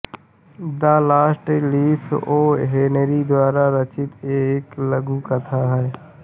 the last leaf O Henry द्वारा रचित एक लघु कथा है